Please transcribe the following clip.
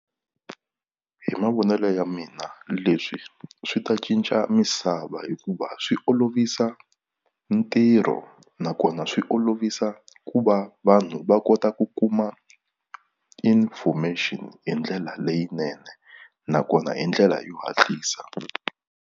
Hi mavonelo ya mina leswi swi ta cinca misava hikuva swi olovisa ntirho nakona swi olovisa ku va vanhu va kota ku kuma information hi ndlela leyinene nakona hi ndlela yo hatlisa.